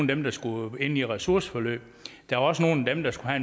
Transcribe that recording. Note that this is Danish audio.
dem der skulle ind i ressourceforløb der var også nogle af dem der skulle